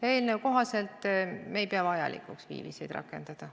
Eelnõu kohaselt me ei pea vajalikuks viiviseid rakendada.